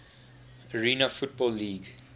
arena football league